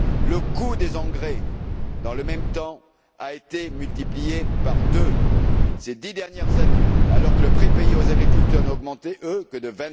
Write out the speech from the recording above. Le coût des engrais, dans le même temps, a été multiplié par deux ces dix dernières années, alors que les prix payés aux agriculteurs n'augmentaient, eux, que de